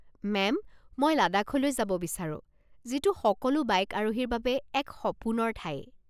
Ma'am, মই লাডাখলৈ যাব বিচাৰো, যিটো সকলো বাইক আৰোহীৰ বাবে এক সপোনৰ ঠাই।